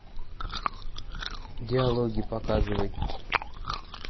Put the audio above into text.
диалоги показывай